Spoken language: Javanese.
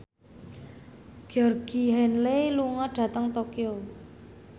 Georgie Henley lunga dhateng Tokyo